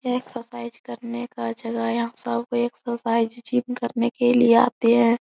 ये एक्सरसाइज करने का जगह है यहाँ सब एक्सरसाइज जिम करने के लिए आते हैं।